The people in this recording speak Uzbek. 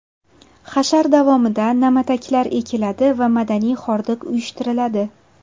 Hashar davomida na’mataklar ekiladi va madaniy xordiq uyushtiriladi.